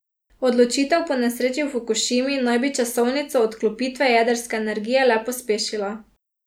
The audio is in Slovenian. Odločitev po nesreči v Fukušimi naj bi časovnico odklopitve jedrske energije le pospešila.